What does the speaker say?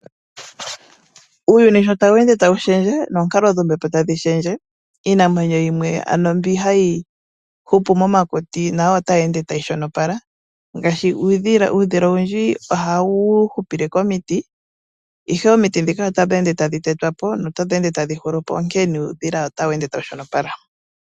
Uuyuni sho tawu ende tawu shendje noonkalo dhombepo tadhi shendje iinamwenyo yimwe ano mbi hayi hupu momakuti nayo ota yi ende tayi shonopala ngaashi uudhila, uudhila owundji oha wu hupile komiti ashike omiti dhika otadhi ende tadhi tetwapo nota dhi ende tadhi hulupo nonkene nuudhila ota wu ende tawu shonopala.